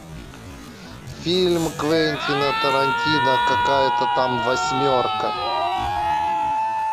фильм квентина тарантино какая то там восьмерка